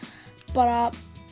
bara